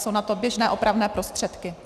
Jsou na to běžné opravné prostředky.